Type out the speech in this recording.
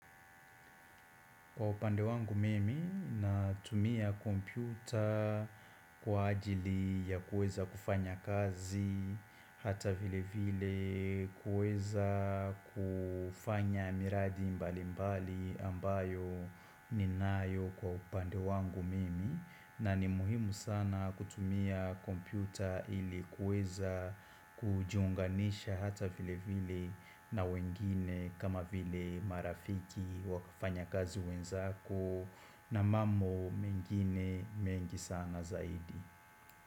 Kwa upande wangu mimi, natumia kompyuta kwa ajili ya kuweza kufanya kazi, hata vile vile kuweza kufanya miradi mbali mbali ambayo ninayo kwa upande wangu mimi. Na ni muhimu sana kutumia kompyuta ili kuweza kujiunganisha hata vile vile na wengine kama vile marafiki wakafanya kazi wenzako na mambo mengine mengi sana zaidi.